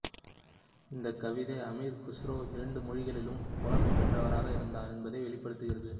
இந்தக் கவிதை அமீர் குஸ்ரோ இரண்டு மொழிகளிலும் புலமை பெற்றவராக இருந்தார் என்பதை வெளிப்படுத்துகிறது